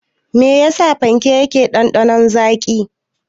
Me yasa fanke yake ɗanɗanon zaƙi.